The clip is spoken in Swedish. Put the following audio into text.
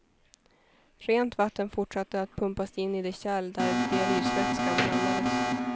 Rent vatten fortsatte att pumpas in i det kärl där dialysvätskan blandades.